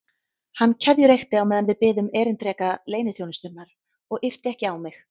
Hann keðjureykti á meðan við biðum erindreka leyniþjónustunnar og yrti ekki á mig.